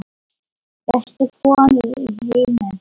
Bestu konu í heimi.